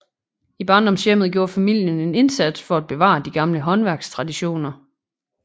I barndomshjemmet gjorde familien en indsats for bevare de gamle håndværkstraditioner